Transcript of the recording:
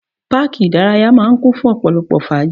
Páàkì ìdárayá máà ń kún fún ọ̀pọ̀lọpọ̀ fàájì.